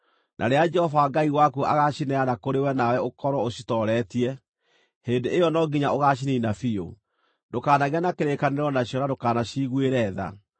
na rĩrĩa Jehova Ngai waku agaacineana kũrĩ we nawe ũkorwo ũcitooretie, hĩndĩ ĩyo no nginya ũgaciniina biũ. Ndũkanagĩe na kĩrĩkanĩro nacio na ndũkanaciiguĩre tha.